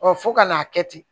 fo ka n'a kɛ ten